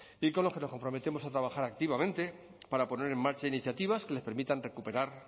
y con los que nos comprometemos a trabajar activamente para poner en marcha iniciativas que les permitan recuperar